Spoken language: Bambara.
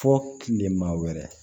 Fɔ kilema wɛrɛ